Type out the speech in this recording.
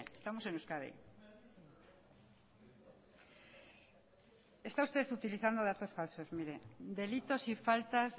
estamos en euskadi está usted utilizando datos falsos mire delitos y faltas